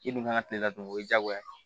I dun kan ka kile ladon o ye diyagoya ye